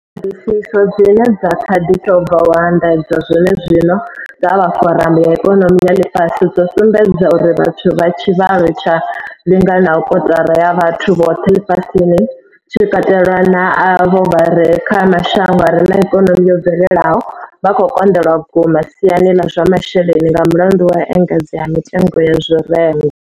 Ṱhoḓisiso dzine dza kha ḓi tou bva u anḓadzwa zwenezwino dza vha Foramu ya ikonomi ya ḽifhasi dzo sumbedza uri vhathu vha tshivhalo tshi linganaho kotara ya vhathu vhoṱhe ḽifhasini, tshi katelwa na avho vha re kha mashango a re na ikonomi yo bvelelaho, vha khou konḓelwa vhukuma siani ḽa zwa masheleni nga mulandu wa u engedzea ha mitengo ya zwirengwa.